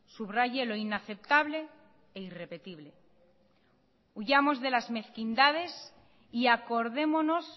subraye lo inaceptable e irrepetible huyamos de las mezquindades y acordémonos